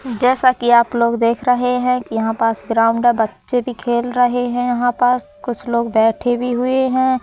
जैसा कि आप लोग देख रहे हैं कि यहां पास ग्राउंड है बच्चे भी खेल रहे हैं यहां पास कुछ लोग बैठे भी हुए हैं।